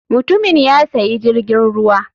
Mutumin ya sayi jirgin ruwa.